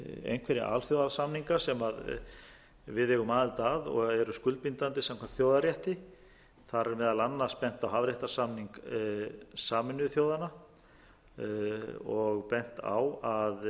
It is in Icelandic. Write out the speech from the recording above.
einhverja alþjóðasamninga sem við eigum aðild að og eru skuldbindandi samkvæmt þjóðarrétti þar er meðal annars bent á hafréttarsamning sameinuðu þjóðanna og bent á að